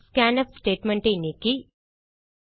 scanf statement ஐ நீக்கி